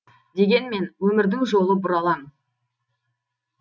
дегенмен өмірдің жолы бұралаң